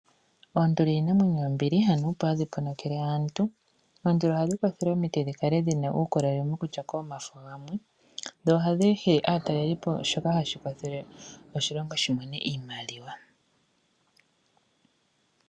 Oonduli iinamwenyo yombili, hanuupu hadhi ponokele aantu. Oonduli ohadhi kwathele opo dhi vule okukala dhina uundjolowele opo dhivule okulyako omafo gamwe. Ohadhi hili aatalelipo, shoka hashi kwathele oshilongo shimone iimaliwa.